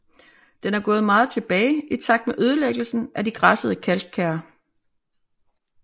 Den er gået meget tilbage i takt med ødelæggelsen af de græssede kalkkær